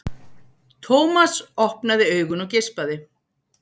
Thomas opnaði augun og geispaði.